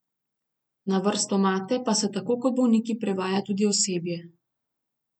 Na vrstomate pa se tako kot bolniki privaja tudi osebje.